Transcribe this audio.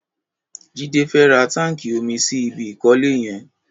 Jide fè rà tànkí ómí sí ibi ikọ̀lé yẹn